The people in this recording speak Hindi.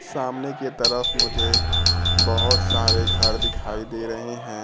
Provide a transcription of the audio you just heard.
सामने के तरफ मुझे बहोत सारे घर दिखाई दे रहे है।